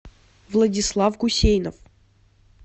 владислав гусейнов